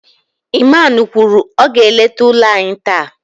Iman kwuru, ọ ga-eleta ụlọ anyị taa